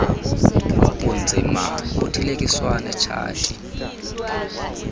bunzima buthelekiswa netshati